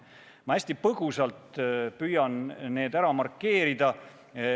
Ma püüan need hästi põgusalt ära markeerida.